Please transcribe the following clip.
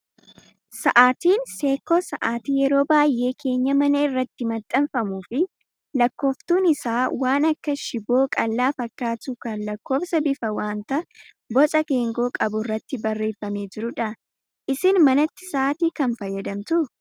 Sa'aatiin seekkoo sa'aatii yeroo baay'ee keenyaa manaa irratti maxxanfamuu fi lakkooftuun isaa waan akka shiboo qal'aa fakkaatu kan lakkoofsa bifa wanta boca geengoo qabu irratti barreeffamee jirudha. Isin manatti sa'aatii kam fayyadamtu?